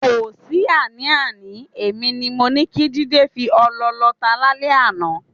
Kò sí àní-àní, èmi ni mo ní kí Jídé fi ọlọ lọta lálẹ́ àná.